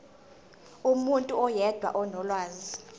umuntu oyedwa onolwazi